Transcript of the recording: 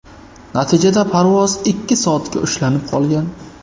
Natijada parvoz ikki soatga ushlanib qolgan.